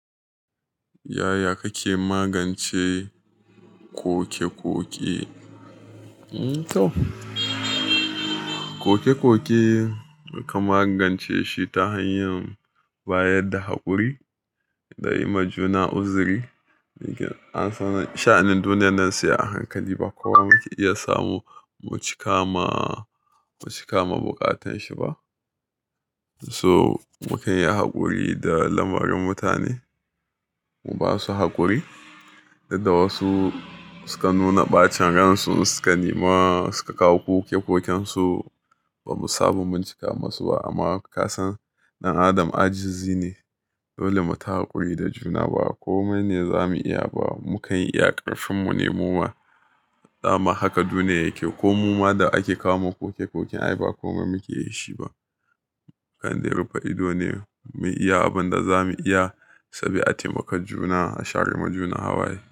Yaya kake magance koke-koke? Koke-koke ka magance shi ta hanyar bayar da haƙuri, da yi ma juna uzuri. An san sha'anin duniyar nan sai a hankali ba kuwa muke iya samu mucika ma, mucika ma buƙatanshi ba. So, mu kan yi haƙuri da lamarin mutane. Mu ba su haƙuri, duk da wasu sukan nuna ɓacin ransu sukan nema suka kawo koke-koken su, ba mu samu mun cika musu ba amma ka san ɗan adam ajizi ne. Dole mu ta haƙuri da juna ba komai ne za mu iya ba. Mu kan yi ƙarfinmu ne muma, dama haka duniya yake ko mu ma da ake kawoma koke-koken ai ba komai muke da shi ba. Kan zai rufe ido ne mu iya abin da za mu iya saboda taimakon juna, a share ma juna hawaye.